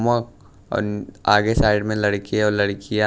मक अन आगे साइड में लड़के और लड़कियां--